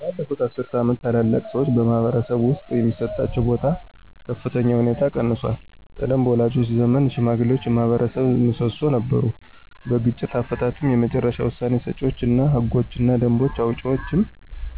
ባለፉት አስርት ዓመታት፣ ታላላቅ ሰዎች በማኅበረሰብ ውስጥ የሚሰጣቸው ቦታ በከፍተኛ ሁኔታ ቀንሷል። ቀድሞ በወላጆቻችን ዘመን ሽማግሌዎች የማኅበረሰብ ምሰሶ ነበሩ። በግጭት አፈታትም የመጨረሻ ውሳኔ ሰጪዎች እና ህጎችንና ደንቦችን አውጪዎችም